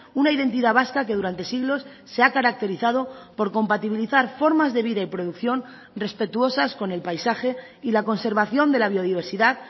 una identidad vasca que durante siglos se ha caracterizado por compatibilizar formas de vida y producción respetuosas con el paisaje y la conservación de la biodiversidad